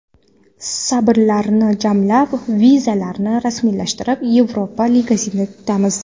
Sabrlarni jamlab, vizalarni rasmiylashtirib, Yevropa ligasini kutamiz”.